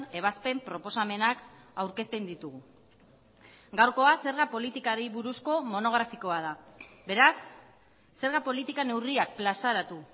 ebazpen proposamenak aurkezten ditugu gaurkoa zerga politikari buruzko monografikoa da beraz zerga politika neurriak plazaratu